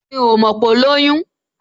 Mi ò mọ̀ pé ó lóyún